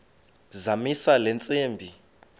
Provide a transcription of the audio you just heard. zamisa le ntsimbi